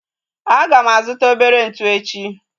Aga m azuta obere ntụ echi